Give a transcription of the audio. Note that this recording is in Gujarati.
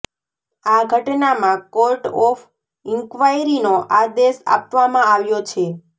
આ ઘટનામાં કોર્ટ ઑફ ઈન્ક્વાયરીનો આદેશ આપવામાં આવ્યો છે